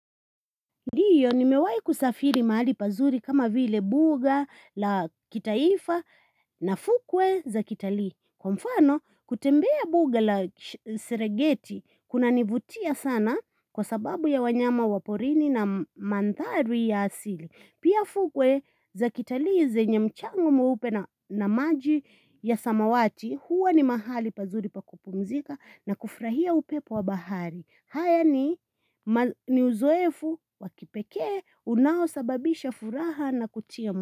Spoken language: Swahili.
Ndiyo ni mewahi kusafiri mahali pazuri kama vile buga la kitaifa na fukwe za kitalii. Kwa mfano kutembea buga la serengeti kuna nivutia sana kwa sababu ya wanyama wa porini na manthari ya asili. Pia fukwe za kitali zenye mchanga mweupe na maji ya samawati huwa ni mahali pazuri pa kupumzika na kufurahia upepo wa bahari. Haya ni uzoefu wa kipekee unao sababisha furaha na kutia mwa.